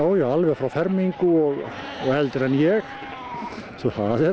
já frá fermingu og og eldri en ég svo